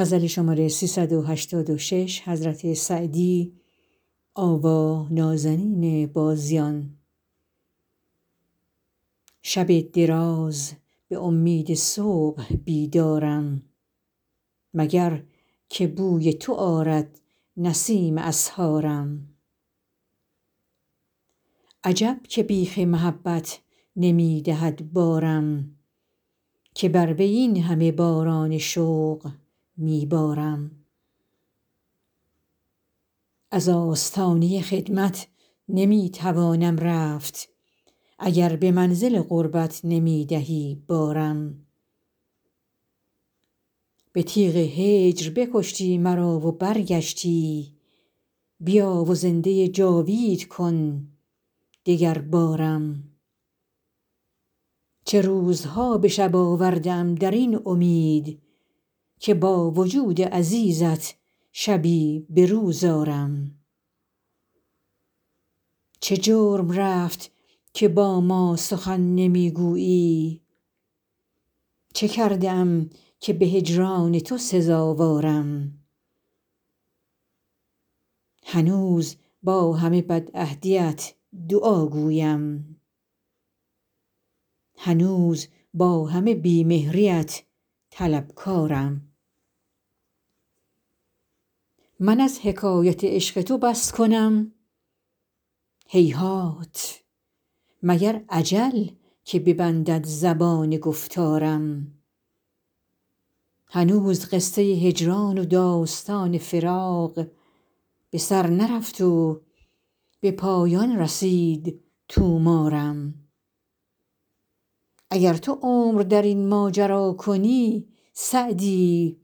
شب دراز به امید صبح بیدارم مگر که بوی تو آرد نسیم اسحارم عجب که بیخ محبت نمی دهد بارم که بر وی این همه باران شوق می بارم از آستانه خدمت نمی توانم رفت اگر به منزل قربت نمی دهی بارم به تیغ هجر بکشتی مرا و برگشتی بیا و زنده جاوید کن دگربارم چه روزها به شب آورده ام در این امید که با وجود عزیزت شبی به روز آرم چه جرم رفت که با ما سخن نمی گویی چه کرده ام که به هجران تو سزاوارم هنوز با همه بدعهدیت دعاگویم هنوز با همه بی مهریت طلبکارم من از حکایت عشق تو بس کنم هیهات مگر اجل که ببندد زبان گفتارم هنوز قصه هجران و داستان فراق به سر نرفت و به پایان رسید طومارم اگر تو عمر در این ماجرا کنی سعدی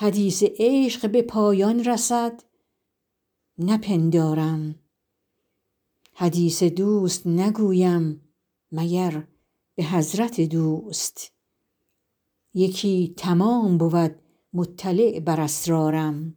حدیث عشق به پایان رسد نپندارم حدیث دوست نگویم مگر به حضرت دوست یکی تمام بود مطلع بر اسرارم